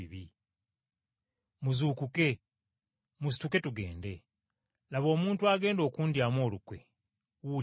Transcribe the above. Muzuukuke! Musituke tugende! Laba, omuntu agenda okundyamu olukwe wuuli ajja!”